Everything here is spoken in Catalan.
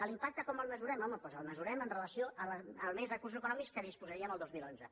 l’impacte com el mesurem home doncs el mesurem amb relació als menys recursos econòmics de què disposaríem el dos mil onze